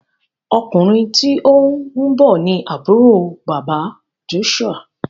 Ọkùnrin tíó nbó ní Àbúrò bàbá Joshua.